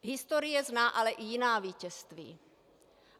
Historie zná ale i jiná vítězství.